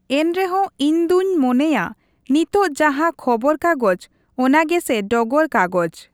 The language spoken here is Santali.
ᱮᱱᱨᱮᱦᱚᱸ ᱤᱧᱫᱩᱧ ᱢᱚᱱᱮᱭᱟ, ᱱᱤᱛᱚᱜ ᱡᱟᱦᱟᱸ ᱠᱷᱚᱵᱚᱨ ᱠᱟᱜᱚᱡ, ᱚᱱᱟ ᱜᱮᱥᱮ ᱰᱚᱜᱚᱨ ᱠᱟᱜᱚᱡ ᱾